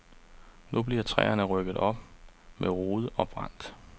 Nu bliver træerne rykket op med rode og brændt.